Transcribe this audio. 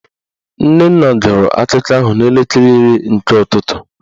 Nnenna gụrụ akụkọ ahụ n'elekere iri nke ụtụtụ